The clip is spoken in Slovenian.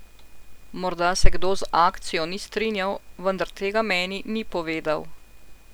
Morda se kdo z akcijo ni strinjal, vendar tega meni ni povedal.